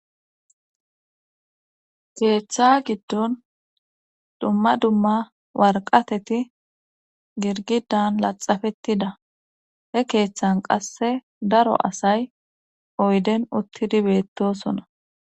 keeththa giddon dumma dumma warqateti girgidan laxafettida he keeththan qasse daro asay oyden uttidi beettosona